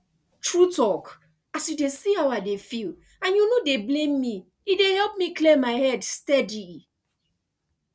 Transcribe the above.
true talk as you dey see how i dey feel and you no dey blame me e dey help me clear my head steady